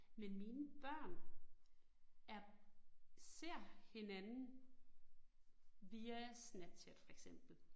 Men mine børn, er, ser hinanden via Snapchat for eksempel